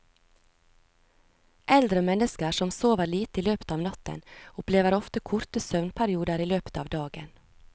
Eldre mennesker som sover lite i løpet av natten opplever ofte korte søvnperioder i løpet av dagen.